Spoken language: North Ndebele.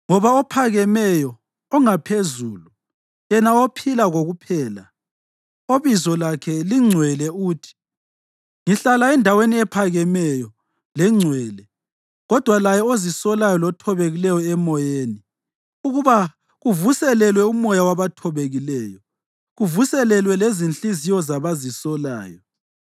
Ngoba ophakemeyo ongaPhezulu, yena ophila kokuphela, obizo lakhe lingcwele uthi: “Ngihlala endaweni ephakemeyo lengcwele, kodwa laye ozisolayo lothobekileyo emoyeni, ukuba kuvuselelwe umoya wabathobekileyo, kuvuselelwe lezinhliziyo zabazisolayo.